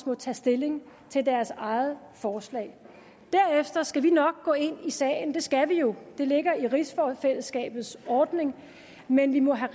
må tage stilling til deres eget forslag derefter skal vi nok gå ind i sagen det skal vi jo det ligger i rigsfællesskabets ordning men vi må have